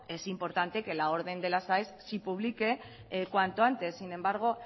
es importante que la orden de las aes se publique cuanto antes sin embargo